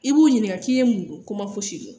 I b'u ɲininka k'i ye mun don ko ma fosi kɛ